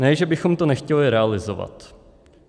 Ne, že bychom to nechtěli realizovat."